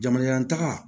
Jamana taga